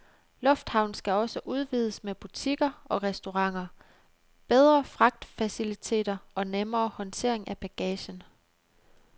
Lufthavnen skal også udvides med butikker og restauranter, bedre fragtfaciliteter og nemmere håndtering af bagagen.